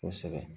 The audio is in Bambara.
Kosɛbɛ